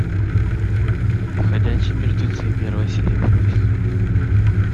ходячие мертвецы первая серия первый сезон